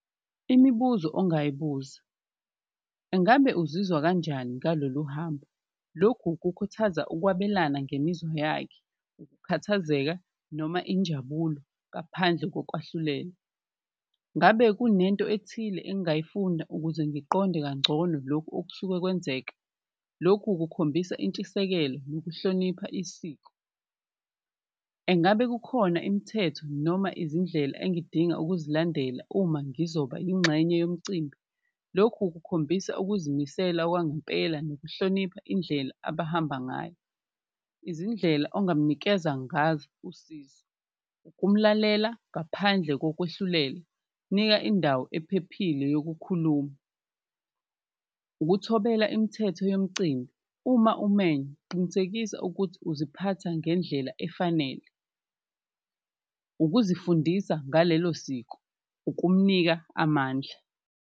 Imibuzo ongayibuza, ungabe uzizwa kanjani ngalolu hambo? Lokhu kukhuthaza ukwabelana ngemizwa yakhe, ukukhathazeka noma injabulo ngaphandle kokwahlulela. Ngabe kunento ethile engayifunda ukuze ngiqonde kangcono lokhu okusuke kwenzeka? Lokhu kukhombisa intshisekelo nokuhlonipha isiko. Engabe kukhona imithetho noma izindlela engidinga ukuzilandela uma ngizoba ingxenye yomcimbi? Lokhu kukhombisa ukuzimisela kwangempela nokuhlonipha indlela abahamba ngayo. Izindlela ongamnikeza ngazo usizo ukumlalela ngaphandle kokwehlulela, nika indawo ephephile yokukhuluma. Ukuthobela imthetho yemcimbi, uma umenywa qinisekisa ukuthi uziphatha ngendlela efanele, ukuzifundisa ngalelo siko, ukumnika amandla.